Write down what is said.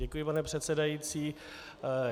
Děkuji, pane předsedající.